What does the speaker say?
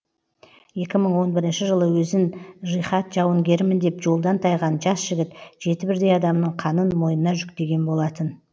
екі мың он бірінші жылы өзін жихад жауынгерімін деп жолдан тайған жас жігіт жеті бірдей адамның қанын мойнына жүктеген болатын